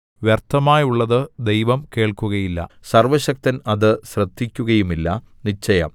വ്യര്‍ത്ഥമായുള്ളത് ദൈവം കേൾക്കുകയില്ല സർവ്വശക്തൻ അത് ശ്രദ്ധിക്കുകയുമില്ല നിശ്ചയം